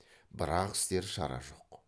бірақ істер шара жоқ